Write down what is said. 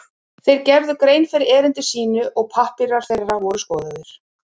Þeir gerðu grein fyrir erindi sínu og pappírar þeirra voru skoðaðir.